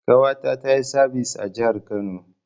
Ƙawata tayi sabis a jahar Kano